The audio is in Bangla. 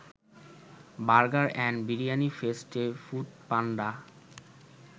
বার্গার অ্যান্ড বিরিয়ানি ফেস্টে ফুডপান্ডা